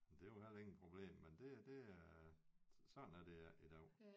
Det er jo heller ingen problem men det det er sådan er det ikke i dag